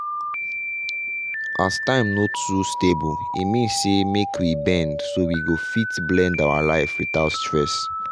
as your time no too stable e mean say make we bend so we fit blend our life without stress.